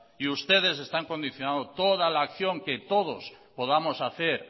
y ustedes están condicionando todas la acción que todos podamos hacer